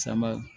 Sama